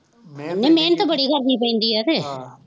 ਨਹੀਂ ਮਿਹਨਤ ਬੜੀ ਕਰਨੀ ਪੈਂਦੀ ਹੈ ਅਤੇ